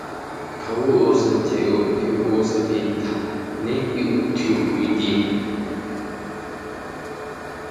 kawwo oosso keettani oosanchay oossanchay ootiyo sohuanne ikka utiyo oydiyaa.